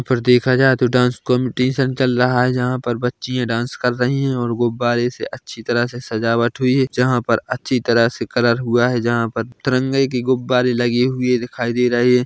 और देखा जाये तो डांस कॉंपिटीशन चल रहा है जहाँ पर बच्चियाँ डांस कर रही है और गुब्बारे से अच्छी तरह से सजावट हुई है जहाँ पर अच्छी तरह से कलर हुआ है जहाँ पर त्रिरंगे के गुब्बारे लगे हुए दिखाई दे रहे --